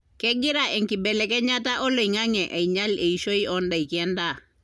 kengira enkibelekenyata oloingange ainyial eishoi odaiki endaa